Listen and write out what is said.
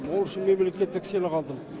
ол үшін мемлекеттік сыйлық алдым